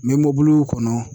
N bɛ mɔbili kɔnɔ